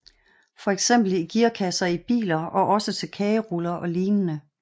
Fx i gearkasser i biler og også til kageruller og lignende